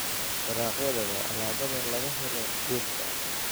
Dalagyada waa alaabada laga helo dhirta.